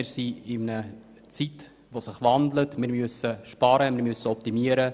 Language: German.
Wir leben in einer Zeit starken Wandels und müssen sparen und optimieren.